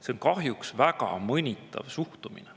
See on kahjuks väga mõnitav suhtumine.